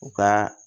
U ka